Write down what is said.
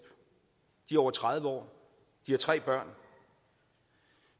de er over tredive år de har tre børn